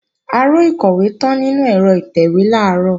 Aró ìkọ̀wé tán nínú ẹ̀rọ ìtẹ̀wé làárọ̀